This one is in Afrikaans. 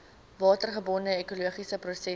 watergebonde ekologiese prosesse